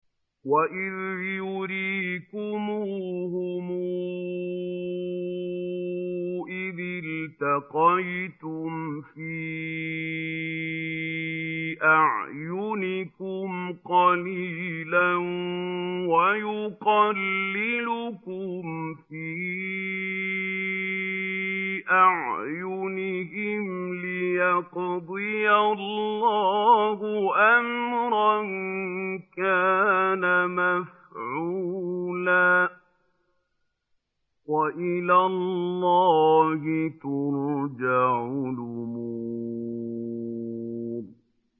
وَإِذْ يُرِيكُمُوهُمْ إِذِ الْتَقَيْتُمْ فِي أَعْيُنِكُمْ قَلِيلًا وَيُقَلِّلُكُمْ فِي أَعْيُنِهِمْ لِيَقْضِيَ اللَّهُ أَمْرًا كَانَ مَفْعُولًا ۗ وَإِلَى اللَّهِ تُرْجَعُ الْأُمُورُ